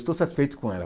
Estou satisfeito com ela.